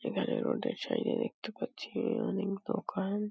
এখানে রোড -এর সাইড -এ দেখতে পাচ্ছি অনেক দোকান।